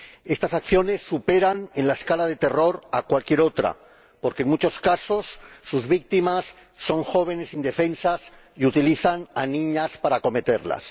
Estas acciones superan en la escala del terror a cualquier otra porque, en muchos casos, sus víctimas son jóvenes indefensas y porque utilizan a niñas para cometerlas.